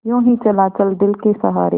यूँ ही चला चल दिल के सहारे